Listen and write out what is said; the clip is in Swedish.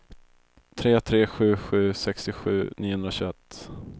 tre tre sju sju sextiosju niohundratjugoett